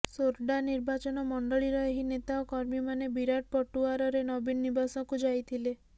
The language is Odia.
ସୋରଡ଼ା ନିର୍ବାଚନ ମଣ୍ଡଳୀର ଏହି ନେତା ଓ କର୍ମୀମାନେ ବିରାଟ ପଟୁଆରରେ ନବୀନ ନିବାସକୁ ଯାଇଥିଲେ